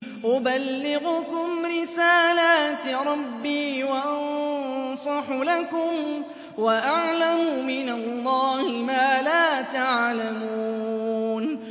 أُبَلِّغُكُمْ رِسَالَاتِ رَبِّي وَأَنصَحُ لَكُمْ وَأَعْلَمُ مِنَ اللَّهِ مَا لَا تَعْلَمُونَ